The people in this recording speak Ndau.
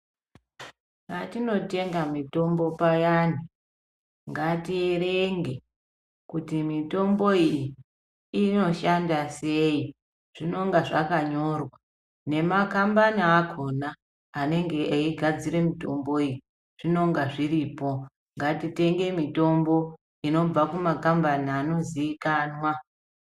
Patinotenga mitombo payani ngatierenge kuti mitombo iyi inoshanda sei. Zvinonga zvakanyorwa. Nemakambani akona anenge eigadzire mitombo iyi. Zvinonga zviripo. Ngatitenge mitombo inobva kumakambani anozivikanwa.